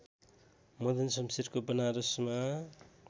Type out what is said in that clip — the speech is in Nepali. मदनशमशेरको बनारसमा